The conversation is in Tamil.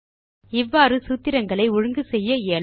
இவ்வாறு சூத்திரங்களை ஒழுங்கு செய்ய இயலும்